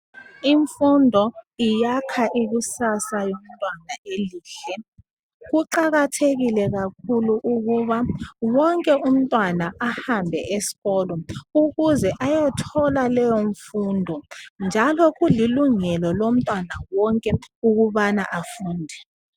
Imfundo iyakha ikusasa yomntwana enhle .Kuqakathekile kakhulu ukuba .Wonke umntwana ahambe eskolo ukuze ayothola leyo mfundo .Njalo kulilungelo lomntwana wonke ukubana afunde .